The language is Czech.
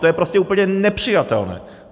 To je prostě úplně nepřijatelné!